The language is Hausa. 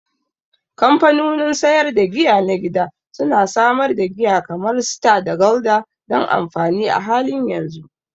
Kamfanonin sayar da giya na gida su na samar da giya kamar Star da Gulder don amfani a halin yanzu.